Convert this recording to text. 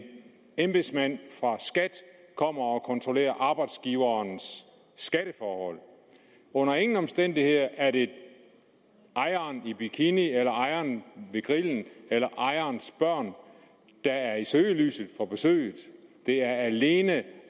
embedsmand fra skat kommer og kontrollerer arbejdsgiverens skatteforhold under ingen omstændigheder er det ejeren i bikini eller ejeren ved grillen eller ejerens børn der er i søgelyset for besøget det er alene